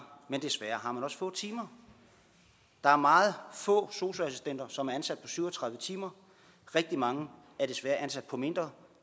og desværre har man også få timer der er meget få sosu assistenter som er ansat syv og tredive timer rigtig mange er desværre ansat på mindre